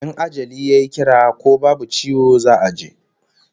In ajali yayi kira ko babu ciwo za'a je